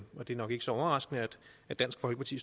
er nok ikke så overraskende at dansk folkeparti